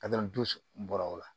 dusu bɔra o la